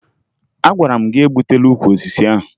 Agwara m gị egbutula ukwu osisi ahụ!